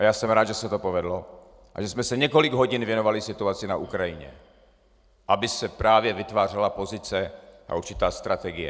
A já jsem rád, že se to povedlo a že jsme se několik hodin věnovali situaci na Ukrajině, aby se právě vytvářela pozice a určitá strategie.